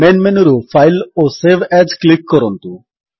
main ମେନୁରୁ file ଓ save as click କରନ୍ତୁ